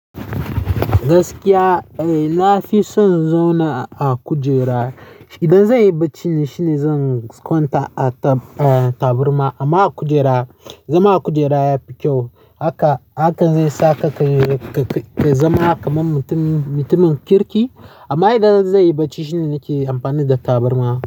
Gaskiya, eh na fi son zauna a kujera. Idan zan yi barci shine zan kwanta a ta-taburma amma a kujera. Zama a kujera ya fi kyau haka, haka zai saka ka zama kaman mutum-mutumin kirki. Amma idan zai yi barci shine nake amfani da taburma.